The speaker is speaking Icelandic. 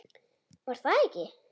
Var það ekki?